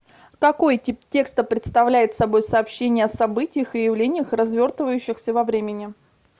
какой тип текста представляет собой сообщение о событиях и явлениях развертывающихся во времени